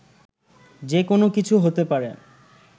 যে কোনো কিছু হতে পারে